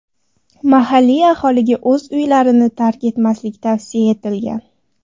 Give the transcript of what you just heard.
Mahalliy aholiga o‘z uylarini tark etmaslik tavsiya etilgan.